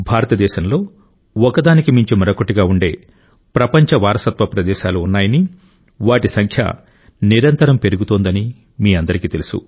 భారతదేశంలో ఒక దానికి మించి మరొకటిగా ఉండే ప్రపంచ వారసత్వ ప్రదేశాలు ఉన్నాయని వాటి సంఖ్య నిరంతరం పెరుగుతోందని మీ అందరికీ తెలుసు